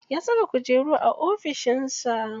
Ya saka kujeru a ofishin sa.